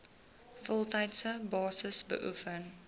voltydse basis beoefen